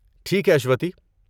ٹھیک ہے، اشوتی۔